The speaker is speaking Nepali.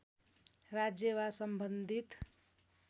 राज्य वा सम्बन्धित